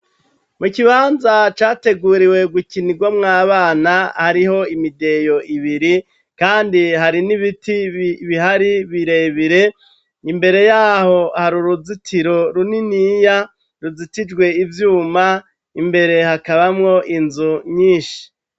mu kibanza categuriwe gukinirwa mw'abana hariho imideyo ibiri kandi hari n'ibiti bihari birebire imbereyaho hari uruzitiro runiniya ruzitijwe ivyuma imbere hakabamo inzu nyinshi